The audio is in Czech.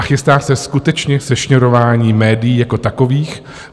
A chystá se skutečně sešněrování médií jako takových.